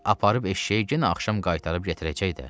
Aparıb eşşəyi yenə axşam qaytarıb gətirəcək də.